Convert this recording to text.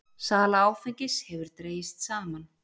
Sala áfengis hefur dregist saman